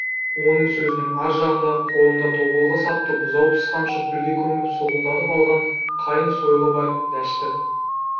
оның сөзінің ар жағында қолында тобылғы сапты бұзау тіс қамшы күлге көміп солқылдатып алған қайың сойылы бар дәшті